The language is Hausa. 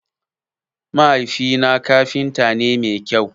Mahaifi na kafinta ne mai kyau.